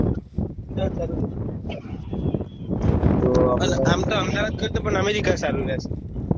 વિચાર સારો રેહશે આમ તો અહેમદાબાદ કરતા અમેરિકા સારું રેહશે